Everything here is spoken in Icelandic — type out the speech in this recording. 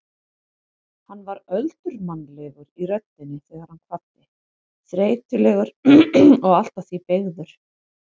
Hann var öldurmannlegur í röddinni þegar hann kvaddi, þreytulegur og allt að því beygður.